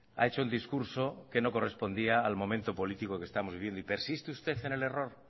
ha hecho el discurso que no correspondía al momento político que estamos viviendo y persiste usted en el error